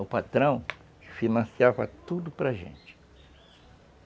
O patrão financiava tudo para gente.